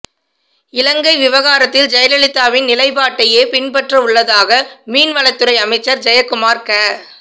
இலங்கை விவகாரத்தில் ஜெயலலிதாவின் நிலைப்பாட்டையே பின்பற்றவுள்ளதாக மீன்வளத்துறை அமைச்சர் ஜெயக்குமார் க